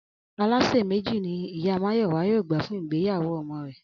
Alásè méjì ni ìyá Máyò̩wá yóò gbà fún ìgbéyàwó o̩mo̩ rè̩